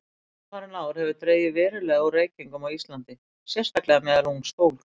Undanfarin ár hefur dregið verulega úr reykingum á Íslandi, sérstaklega meðal ungs fólks.